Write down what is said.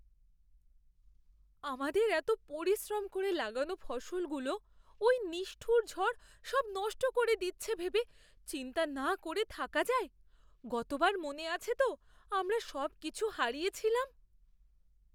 আমাদের এতো পরিশ্রম করে লাগানো ফসলগুলো ওই নিষ্ঠুর ঝড় সব নষ্ট করে দিচ্ছে ভেবে চিন্তা না করে থাকা যায়! গতবার মনে আছে তো আমরা সবকিছু হারিয়েছিলাম?